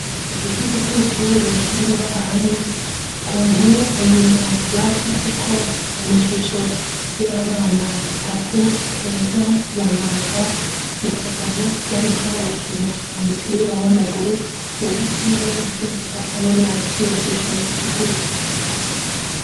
Ikigo c'amashuri kiri ngahanye ku mpome inyuma baracafye ko amashusho y'abana batatu keza, bayaga na kagabo bariko bakina umupira w'amaguru uwuhaciye wese acabona iciyo shusho isigura.